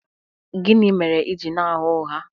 Gịnị mere i ji na-agha ụgha?